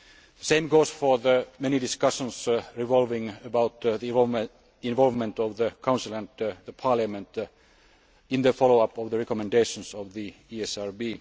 The same goes for the many discussions revolving around the involvement of the Council and Parliament in the follow up to the recommendations of the ESRB.